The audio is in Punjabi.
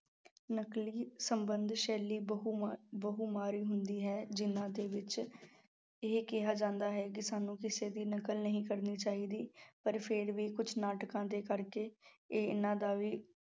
ਨਕਲੀ ਸੰਬੰਧ ਸ਼ੈਲੀ ਬਹੁ ਮਾ~ ਬਹੁ ਮਾਰੀ ਹੁੰਦੀ ਹੈ, ਜਿਹਨਾਂ ਦੇ ਵਿੱਚ ਇਹ ਕਿਹਾ ਜਾਂਦਾ ਹੈ ਕਿ ਸਾਨੂੰ ਕਿਸੇ ਦੀ ਨਕਲ ਨਹੀਂ ਕਰਨੀ ਚਾਹੀਦੀ, ਪਰ ਫਿਰ ਵੀ ਕੁਛ ਨਾਟਕਾਂ ਦੇ ਕਰਕੇ ਇਹਨਾਂ ਦਾ ਵੀ